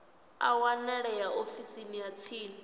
a wanalea ofisini ya tsini